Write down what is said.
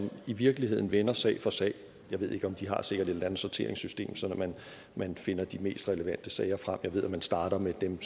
i virkeligheden vender sag for sag de har sikkert et eller andet sorteringssystem sådan at man finder de mest relevante sager frem jeg ved at man starter med dem